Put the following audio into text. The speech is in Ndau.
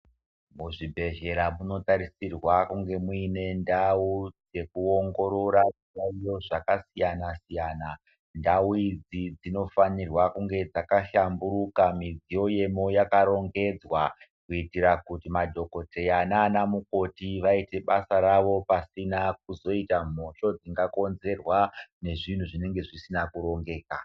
Muzvibhedhlera munotarisirwa kunge muine ndau dzekuongorora zviyaiyo zvakasiyana-siyana. Ndau idzi dzinofanirwa kunge dzakahlamburuka midziyo yemo yakarongedzwa. Kuitira kuti madhogodheya nana mukoti vaite basa ravo pasina kuzoita mhosho dzingakonzerwa nezvinhu zvinonge zvisina kurongeka.